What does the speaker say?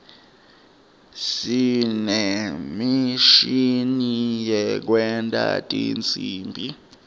sinemishini yekwenta tinsimbi